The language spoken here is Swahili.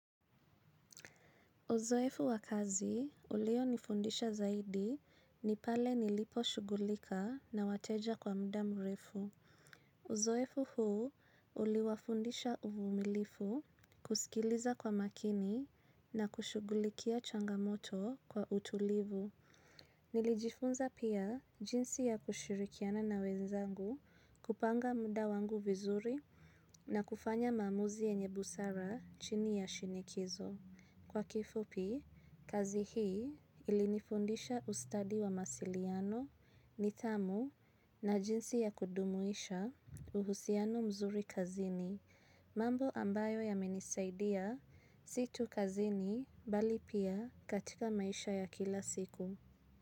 Uzoefu wa kazi ulio nifundisha zaidi ni pale nilipo shughulika na wateja kwa muda mrefu. Uzoefu huu uli wafundisha uvumilivu kusikiliza kwa makini na kushughulikia changamoto kwa utulivu. Nilijifunza pia jinsi ya kushirikiana na wenzangu kupanga muda wangu vizuri na kufanya maamuzi yenye busara chini ya shinikizo. Kwa kifupi, kazi hii ilinifundisha ustadi wa mawasiliano, nithamu na jinsi ya kudumuisha uhusiano mzuri kazini, mambo ambayo yamenisaidia si tu kazini bali pia katika maisha ya kila siku.